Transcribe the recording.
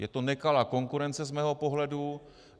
Je to nekalá konkurence z mého pohledu.